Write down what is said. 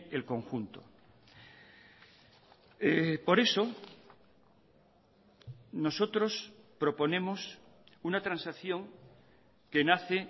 el conjunto por eso nosotros proponemos una transacción que nace